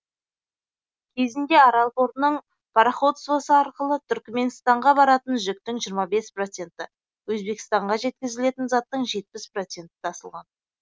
кезінде арал портының пароходствосы арқылы түрікменстанға баратын жүктің жирма бес проценті өзбекстанға жеткізілетін заттың жетпіс проценті тасылған